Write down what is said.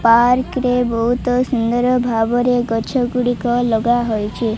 Park ରେ ବହୁତ ସୁନ୍ଦର ଭାବରେ ଗଛ ଗୁଡ଼ିକ ଲଗା ହୋଇଚି।